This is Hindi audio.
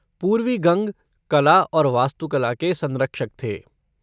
पूर्वी गंग, कला और वास्तुकला के संरक्षक थे।